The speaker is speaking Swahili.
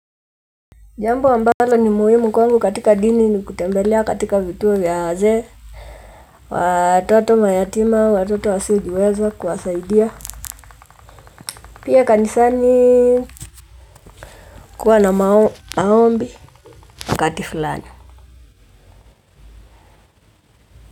Jambo ambalo ni muhimu kwangu katika dini ni kutembelea katika vituo vya wazee. Watoto mayatima, watoto wasiojiweza kuwasaidia. Pia kanisani kuwa na maombi wakati fulani.